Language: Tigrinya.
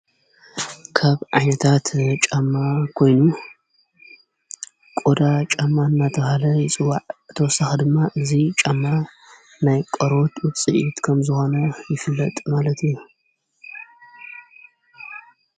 ካብ ዓይነታት ጫማ ኮይኑ ቆዳ ጫማ እናተብሃለ ይፅዋዕ እተወሳኽ ድማ እዙይ ጫማ ናይ ቆርበት ውጽኢት ከም ዝኾነ ይፍለጥ ማለት እዩ።